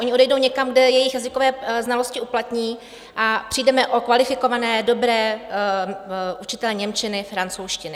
Oni odejdou někam, kde jejich jazykové znalosti uplatní, a přijdeme o kvalifikované, dobré učitele němčiny, francouzštiny.